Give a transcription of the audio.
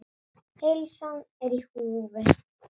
Heilsan er í húfi.